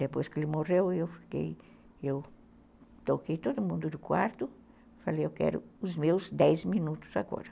Depois que ele morreu, eu toquei todo mundo do quarto, falei, eu quero os meus dez minutos agora.